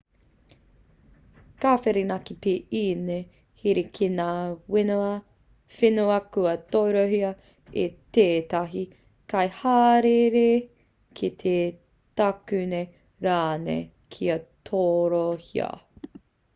ka whirinaki pea ēnei here ki ngā whenua kua torohia e tētahi kaihāereere kei te takune rānei kia torohia